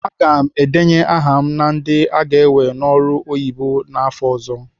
Aga m edenye aha m na ndị aga ewe n'ọrụ oyibo afọ ọ̀zọ́.